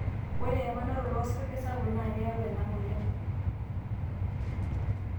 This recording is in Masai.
ore emanaroto to sarge sapuk naa keyau ena moyian